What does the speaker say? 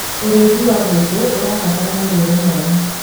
ũrĩithi wa ngũkũ ũrabatara mũrĩre mwega